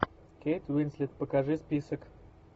кейт уинслет покажи список